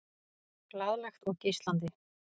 Glaðlegt og geislandi.